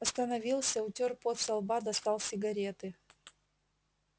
остановился утёр пот со лба достал сигареты